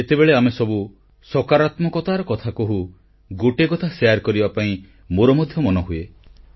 ଯେତେବେଳେ ଆମେସବୁ ସକାରାତ୍ମକତାର କଥା କହୁ ଗୋଟିଏ କଥା ଶେୟାର କରିବା ପାଇଁ ମୋର ମଧ୍ୟ ମନହୁଏ